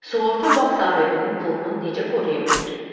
Sığorta bağ sahibinin pulunu necə qoruya bilər?